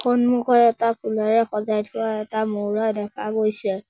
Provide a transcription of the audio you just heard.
সন্মুখত এটা ফুলেৰে সজাই থোৱা এটা ময়ুৰা দেখা গৈছে।